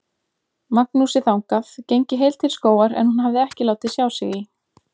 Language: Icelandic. Magnúsi þangað, gengi heil til skógar en hún hafði ekki látið sjá sig í